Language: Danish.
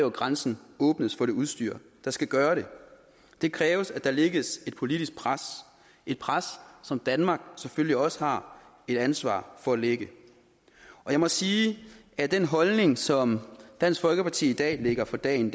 at grænsen åbnes for det udstyr der skal gøre det det kræver at der lægges et politisk pres et pres som danmark selvfølgelig også har et ansvar for at lægge jeg må sige at den holdning som dansk folkeparti i dag lægger for dagen